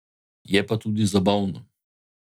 Je pa tudi zabavno.